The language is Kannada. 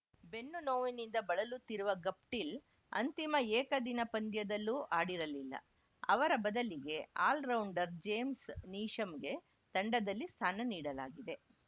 ಬೆನ್ನು ನೋವಿನಿಂದ ಬಳಲುತ್ತಿರುವ ಗಪ್ಟಿಲ್‌ ಅಂತಿಮ ಏಕದಿನ ಪಂದ್ಯದಲ್ಲೂ ಆಡಿರಲಿಲ್ಲ ಅವರ ಬದಲಿಗೆ ಆಲ್ರೌಂಡರ್‌ ಜೇಮ್ಸ್‌ ನೀಶಮ್‌ಗೆ ತಂಡದಲ್ಲಿ ಸ್ಥಾನ ನೀಡಲಾಗಿದೆ